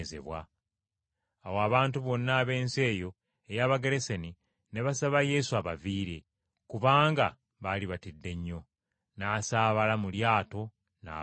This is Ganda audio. Awo abantu bonna ab’ensi eyo ey’Abagerasene ne basaba Yesu abaviire, kubanga baali batidde nnyo. N’asaabala mu lyato n’avaayo.